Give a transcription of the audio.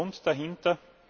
Das war der Grund dahinter.